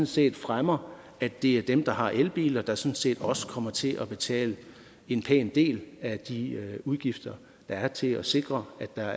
set fremmer at det er dem der har elbiler der sådan set også kommer til at betale en pæn del af de udgifter der er til at sikre at der